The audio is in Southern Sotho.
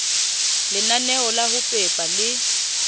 lenaneo la ho pepa le